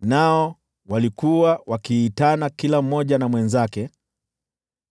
Nao walikuwa wakiitana kila mmoja na mwenzake: